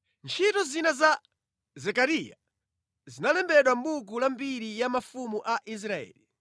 Ntchito zina za Zekariya, zinalembedwa mʼbuku la mbiri ya mafumu a Israeli.